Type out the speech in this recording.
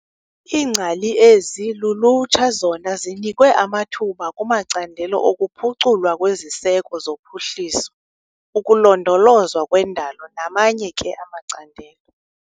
Iingcali ezi lulutsha zona zinikwe amathuba kumacandelo okuphuculwa kweziseko zophuhliso, ukulondolozwa kwendalo namanye ke amacandelo.